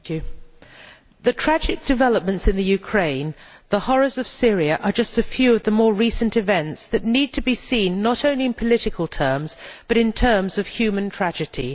Mr President, the tragic developments in Ukraine and the horrors of Syria are just a few of the more recent events that need to be seen not only in political terms but in terms of human tragedy.